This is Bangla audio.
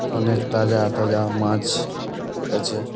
অনেক তাজা তাজা মাছ আছে।